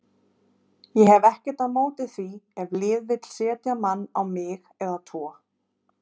Ég hef ekkert á móti því ef lið vilja setja mann á mig eða tvo.